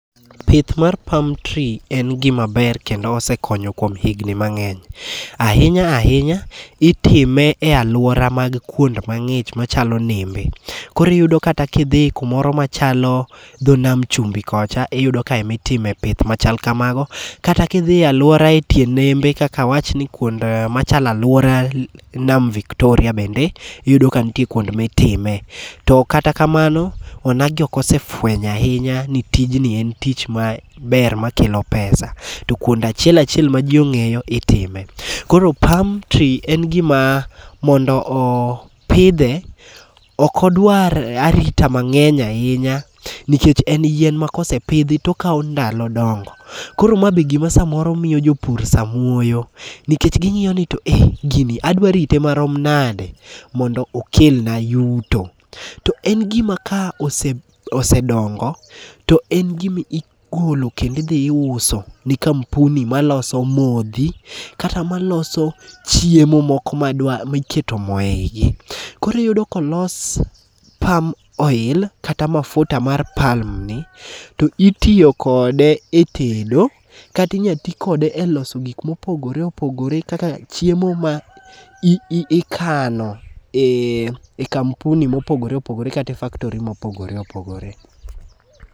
Pith mar palm tree en gima ber kendo osekonyo kuom higni mang'eny. Ahinya ahinya itime e aluora mag kund mang'ich machalo nembe, koro iyudo kata kidhi kumoro machalo tho nam chumbi kocha iyudo ka ema itime pith machalo kamago, kat kidhi aluora e tie nembe kaka awach ni kuond machalo aluora nam victoria bende iyudo ni nitie kuod mitime ,to kata kamano onagi ok osefwenyo ahinya ni tijni en tich maber makelo pesa to kuond achiel achiel ma ji ong'eyo itime, koro palm tree mondo mi opidhe ok odwar arita mang'eny ahinya nikech en yien makosepidhi to okawo ndalo dongo, koro ma be gima samoro miyo jopur samuoyo nikech ging'iyo ni to ee gini adwa rite marom nade mondo okelna yuto. To en gima ka osedongo, to en gima igolo kendo idhi iuso ni kampuni maloso modhi kata maloso chiemo moko miketo moo e igi, koro iyudo kolos palm oil kata mafuta mar pam ni to itiyo kode e tedo kata inyalo ti kode e loso gik mopogore opogore kaka chiemo ma ikano e kampuni mopogore opogore kata e factory mopogore opogore